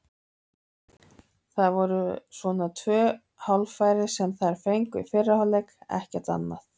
Það voru svona tvö hálffæri sem þær fengu í fyrri hálfleik, annað ekki.